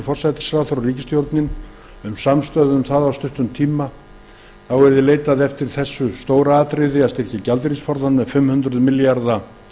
forsætisráðherra og ríkisstjórnin um samstöðu gagnvart því að leitað yrði eftir því að styrkja gjaldeyrisforðann með fimm hundruð milljarða